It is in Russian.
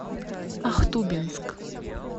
ахтубинск